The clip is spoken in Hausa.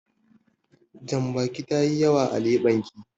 Jambakin tayi yawa a leɓen ki.